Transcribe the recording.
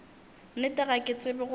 nnete ga ke tsebe gore